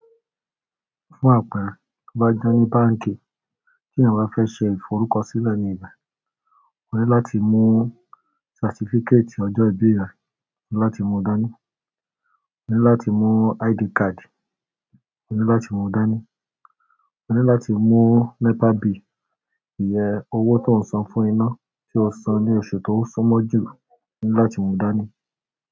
Fún àpẹẹrẹ, tí o bá jẹ́ ní báǹkì tí ènìyàn bá fẹ́ ṣe ìforúkọsílẹ̀ ní ibe, ó ní láti mú certificate ọjọ́ ìbí rẹ̀ láti mú dání, ó ní láti mú ID card o ni láti mú dání, ó ní láti mú NEPA bill, ìyẹ̀ ọwọ́ tó ń san fún iná tí ó san ní oṣù tó sọ́mọ́jú láti mú dání.